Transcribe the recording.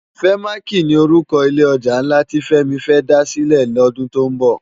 Fèmáki ni órúkò ilé òjá nlá ti Femi fè dá silè lòdún tó nbò